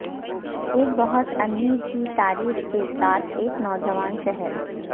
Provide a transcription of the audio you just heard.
ایک بہت امیر کی تاریخ کے ساتھ ایک نوجوان شہر